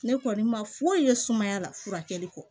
Ne kɔni ma foyi ye sumaya la furakɛli kɔ